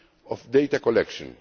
of data collection.